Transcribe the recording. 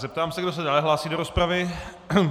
Zeptám se, kdo se dále hlásí do rozpravy.